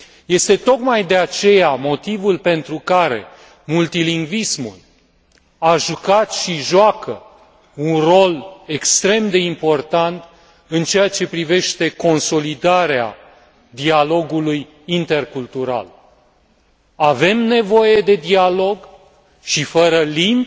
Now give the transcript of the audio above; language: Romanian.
Este tocmai de aceea motivul pentru care multilingvismul a jucat și joacă un rol extrem de important în ceea ce privește consolidarea dialogului intercultural. Avem nevoie de dialog și fără limbi,